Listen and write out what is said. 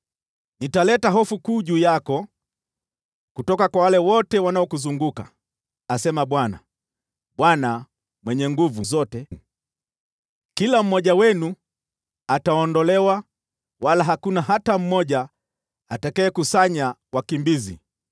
Nitaleta hofu kuu juu yako kutoka kwa wale wote wanaokuzunguka,” asema Bwana, Bwana Mwenye Nguvu Zote. “Kila mmoja wenu ataondolewa, wala hakuna hata mmoja atakayekusanya wakimbizi.